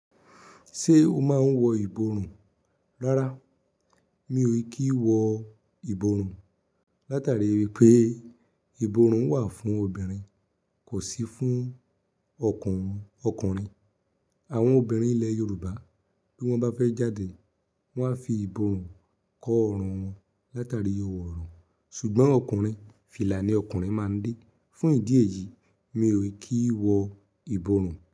Ṣé o máa ń wọ ìborùn? Rárá, mi ò kí ń wọ ìborùn látàrí wípé ìborùn wà fún obìnrin kò sì fún ọkùnrin. Àwọn obìnrin ilẹ̀ Yorùbá bí wón bá fẹ́ jáde, wón a fi ìborùn kọ ọrùn wọn látàrí ọrùn. Ṣùgbọ́n ọkùnrin, fìlà ni ọkùnrin máa ń dé. Fún ìdí èyí, mi ò kí ń wọ ìborùn.